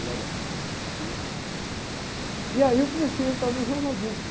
E lá na, tem um... E aí eu comecei a entrar no jornalismo.